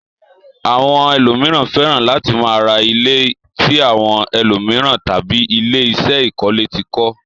Àwọn ẹlòmíràn fẹ́ràn láti máa ra ilé tí àwọn ẹlòmíràn tàbí ilé-iṣé ìkọ́lẹ́ ti kọ́.